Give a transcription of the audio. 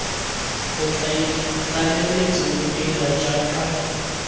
bokaedi tlaleletso bo dira jaaka